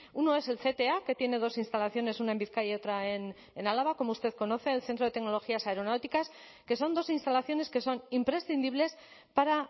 uno es el cta que tiene dos instalaciones una en bizkaia y otra en álava como usted conoce el centro de tecnologías aeronáuticas que son dos instalaciones que son imprescindibles para